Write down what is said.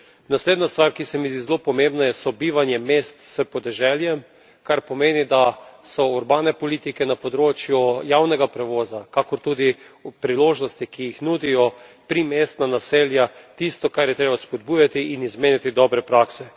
Naslednja stvar, ki se mi zdi zelo pomembna, je sobivanje mest s podeželjem, kar pomeni, da so urbane politike na področju javnega prevoza, kakor tudi ob priložnosti, ki jih nudijo primestna naselja, tisto, kar je treba spodbujati in izmenjati dobre prakse.